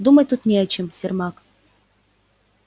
думать тут не о чем сермак